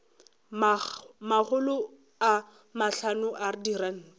makgolo a mahlano a diranta